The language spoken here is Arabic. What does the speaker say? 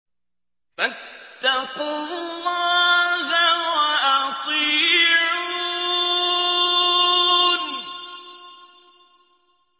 فَاتَّقُوا اللَّهَ وَأَطِيعُونِ